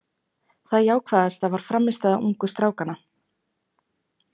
Það jákvæðasta var frammistaða ungu strákanna.